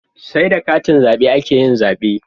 Sai da katin zabe akeyin zabe